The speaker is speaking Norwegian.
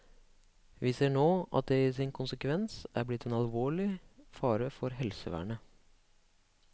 Vi ser nå at det i sin konsekvens er blitt en alvorlig fare for helsevernet.